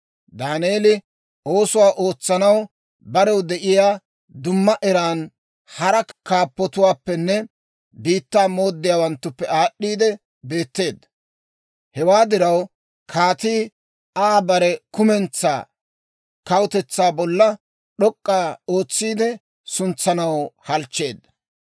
Daaneeli oosuwaa ootsanaw barew de'iyaa dumma eran hara kaappatuwaappenne biittaa mooddiyaawanttuppe aad'd'iide beetteedda. Hewaa diraw, kaatii Aa bare kumentsaa kawutetsaa bolla d'ok'k'a ootsiide suntsanaw halchcheedda.